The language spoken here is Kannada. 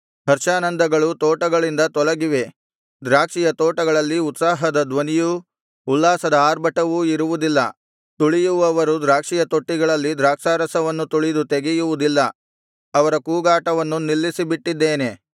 ಹರ್ಷಾನಂದಗಳು ತೋಟಗಳಿಂದ ತೊಲಗಿವೆ ದ್ರಾಕ್ಷಿಯ ತೋಟಗಳಲ್ಲಿ ಉತ್ಸಾಹದ ಧ್ವನಿಯೂ ಉಲ್ಲಾಸದ ಆರ್ಭಟವೂ ಇರುವುದಿಲ್ಲ ತುಳಿಯುವವರು ದ್ರಾಕ್ಷಿಯ ತೊಟ್ಟಿಗಳಲ್ಲಿ ದ್ರಾಕ್ಷಾರಸವನ್ನು ತುಳಿದು ತೆಗೆಯುವುದಿಲ್ಲ ಅವರ ಕೂಗಾಟವನ್ನು ನಿಲ್ಲಿಸಿಬಿಟ್ಟಿದ್ದೇನೆ